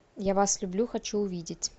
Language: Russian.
я вас люблю хочу увидеть